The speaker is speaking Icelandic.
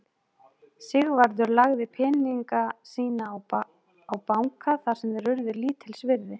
Sigvarður lagði peninga sína á banka þar sem þeir urðu lítils virði.